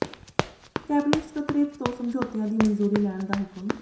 cabinet ਸਕੱਤਰੇਤ ਤੋਂ ਸਮਝੌਤਿਆਂ ਦੀ ਮਨਜ਼ੂਰੀ ਲੈਣ ਦਾ ਹੁਕਮ